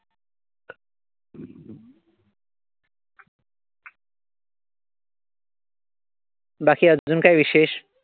बाकी अजून काय विशेष?